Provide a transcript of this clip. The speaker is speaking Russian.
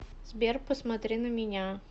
сбер посмотри на меня